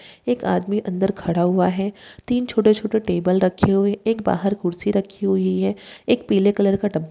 एक आदमी अंदर खड़ा हुआ है तीन छोटे-छोटे टेबल रखे हुए हैं एक बाहर कुर्सी रखी हुई है एक पीले कलर का टब --